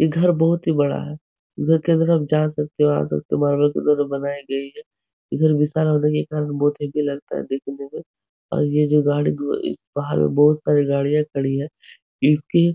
ये घर बहुत ही बड़ा है। घर के अंदर आप जा सकते हो आ सकते हो। के द्वारा बनायी गई है। इधर विशाल होने के कारण बहुत देखने में और ये जो गाड़ी बाहर में बोहत सारी गाड़ियां खड़ी है। इसकी